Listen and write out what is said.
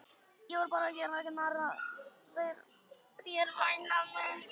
Ég var bara að gera narr að þér væna mín.